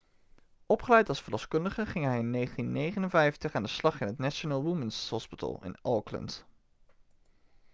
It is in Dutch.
opgeleid als verloskundige ging hij in 1959 aan de slag in het national women's hospital in auckland